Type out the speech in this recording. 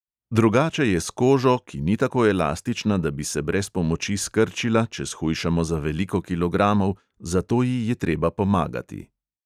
Drugače je s kožo, ki ni tako elastična, da bi se brez pomoči skrčila, če shujšamo za veliko kilogramov, zato ji je treba pomagati.